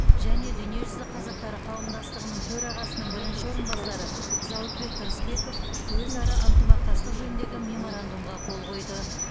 және дүниежүзі қазақтары қауымдастығының төрағасының бірінші орынбасары зауытбек тұрысбеков өзара ынтымақтастық жөніндегі меморандумға қол қойды